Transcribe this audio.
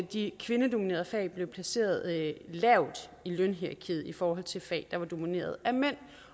de kvindedominerede fag blev placeret lavt i lønhierarkiet i forhold til fag der var domineret af mænd